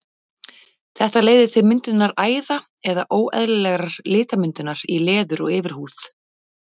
Þetta leiðir til myndunar æða eða óeðlilegrar litmyndunar í leður- og yfirhúð.